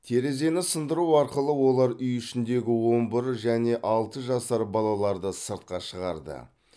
терезені сындыру арқылы олар үй ішіндегі он бір және алты жасар балаларды сыртқа шығарды